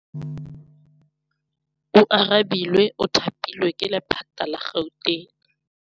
Oarabile o thapilwe ke lephata la Gauteng.